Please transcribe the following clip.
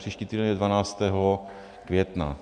Příští týden je 12. května.